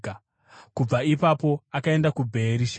Kubva ipapo akaenda kuBheerishebha.